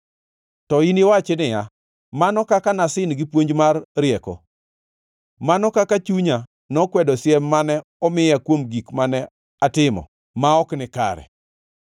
To iniwachi niya, “Mano kaka nasin gi puonj mar rieko! Mano kaka chunya nokwedo siem mane omiya kuom gik mane atimo ma ok nikare!